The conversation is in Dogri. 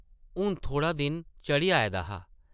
हून थोह्ड़ा दिन चढ़ी आए दा हा ।